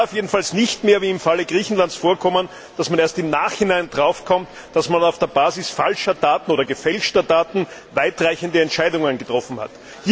Es darf jedenfalls nicht mehr wie im Falle Griechenlands vorkommen, dass man erst im Nachhinein darauf kommt, dass man auf der Basis falscher oder gefälschter Daten weitreichende Entscheidungen getroffen hat.